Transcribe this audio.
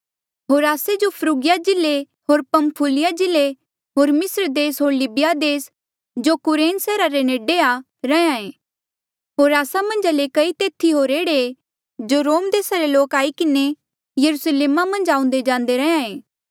होर आस्से जो फ्रुगिया जिल्ले होर पंफुलिया जिल्ले होर मिस्र देस होर लीबिया देस जो कुरेन सैहरा रे नेडे आ रहें होर आस्सा मन्झा ले कई तेथी होर एह्ड़े ऐें जो रोम देसा रे लोक आई किन्हें यरुस्लेमा मन्झ आऊंदे जांदे रैंहयां ऐें